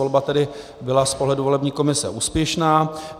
Volba tedy byla z pohledu volební komise úspěšná.